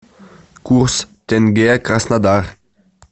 курс тенге краснодар